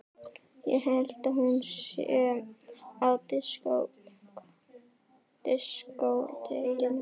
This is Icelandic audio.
Ég held að hún sé á diskótekinu.